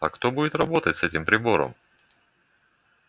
а кто будет работать с этим прибором